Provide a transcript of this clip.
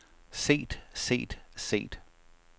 set set set